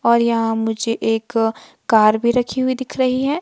और यहां मुझे एक कार भी रखी हुई दिख रही है।